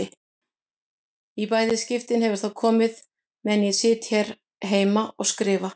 Í bæði skiptin hefur það komið meðan ég sit hér heima og skrifa.